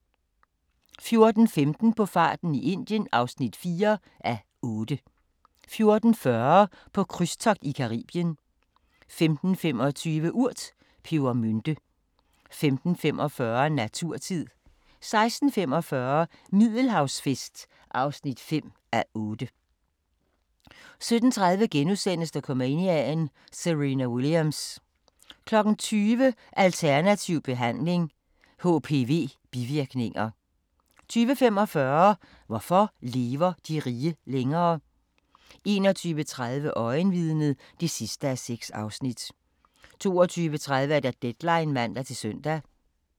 14:15: På farten i Indien (4:8) 14:40: På krydstogt i Caribien 15:25: Urt: Pebermynte 15:45: Naturtid 16:45: Middelhavsfest (5:8) 17:30: Dokumania: Serena Williams * 20:00: Alternativ Behandling - HPV-bivirkninger 20:45: Hvorfor lever de rige længere? 21:30: Øjenvidnet (6:6) 22:30: Deadline (man-søn)